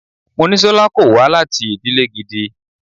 Monísọ́lá kò wá láti ìdílè gidi.